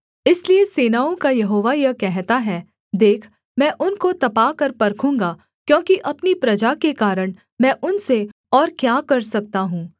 इसलिए सेनाओं का यहोवा यह कहता है देख मैं उनको तपाकर परखूँगा क्योंकि अपनी प्रजा के कारण मैं उनसे और क्या कर सकता हूँ